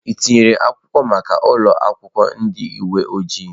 Ị tinyere akwụkwọ maka ụlọ akwụkwọ ndị uwe ojii?